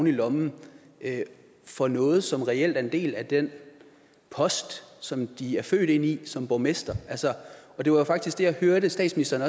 i lommen for noget som reelt er en del af den post som de er født ind i som borgmestre og det var jo faktisk det jeg også hørte statsministeren